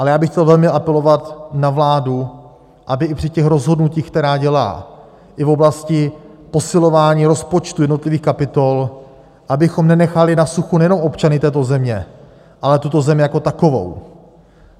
Ale já bych chtěl velmi apelovat na vládu, aby i při těch rozhodnutích, která dělá i v oblasti posilování rozpočtu jednotlivých kapitol, abychom nenechali na suchu nejenom občany této země, ale tuto zemi jako takovou.